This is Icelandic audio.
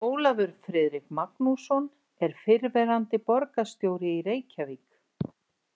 Ólafur Friðrik Magnússon er fyrrverandi borgarstjóri í Reykjavík.